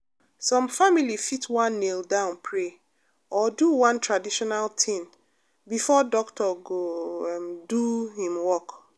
some family fit wan kneel down pray or do one traditional thing before doctor go um do hin work.